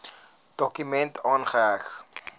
dokument aangeheg